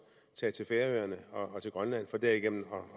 tage til færøerne og grønland for derigennem